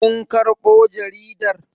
Kun karɓo jarida?